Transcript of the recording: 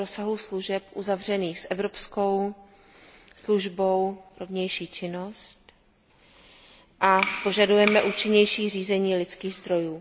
o rozsahu služeb uzavřených s evropskou službou pro vnější činnost, a požadujeme účinnější řízení lidských zdrojů.